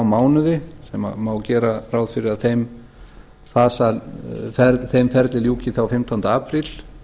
mánuði sem má gera ráð fyrir að þeim ferli ljúki þá fimmtánda apríl